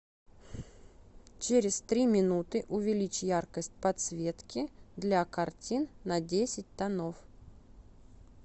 через три минуты увеличь яркость подсветки для картин на десять тонов